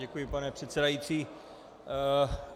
Děkuji, pane předsedající.